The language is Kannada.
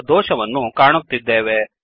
ಎಂಬ ದೋಷವನ್ನು ಕಾಣುತ್ತಿದ್ದೇವೆ